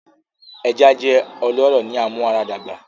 Eja jẹ ọlọrọ ni amuaradagba